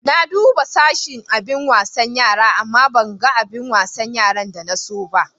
Na duba duka sashin abin wasan yara, amma ban gan abin wasan yara da na so ba.